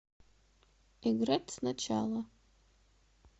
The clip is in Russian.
играть сначала